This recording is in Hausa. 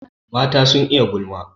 Mata sun iya gulma.